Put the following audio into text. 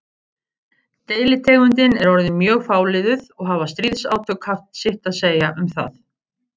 Deilitegundin er orðin mjög fáliðuð og hafa stríðsátök haft sitt að segja um það.